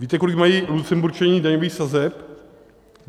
Víte, kolik mají Lucemburčané daňových sazeb?